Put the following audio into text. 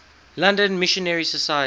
london missionary society